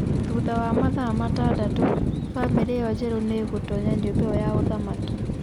Thutha wa mathaa matandatũ, famĩlĩ ĩyo njerũ nĩ ĩgĩtoonya nyũmba ĩyo ya ũthamaki.